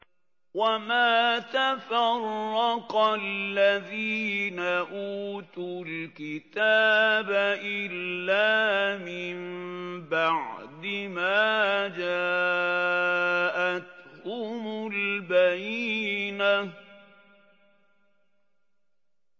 وَمَا تَفَرَّقَ الَّذِينَ أُوتُوا الْكِتَابَ إِلَّا مِن بَعْدِ مَا جَاءَتْهُمُ الْبَيِّنَةُ